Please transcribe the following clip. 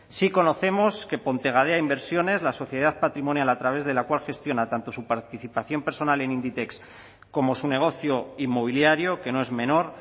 sí conocemos que pontegadea inversiones la sociedad patrimonial a través de la cual gestiona tanto su participación personal en inditex como su negocio inmobiliario que no es menor